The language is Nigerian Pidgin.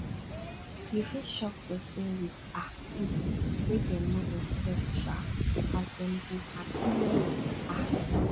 yu fit shock pesin wit um gift wey em no expect um as em go hapi wella um